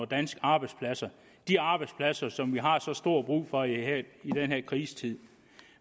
danske arbejdspladser de arbejdspladser som vi har så stor brug for i den her krisetid